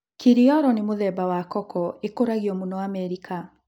Kiriolo ni mũthemba wa koko ĩkũragio mũno Amerika.